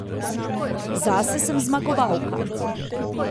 Zase sem zmagovalka.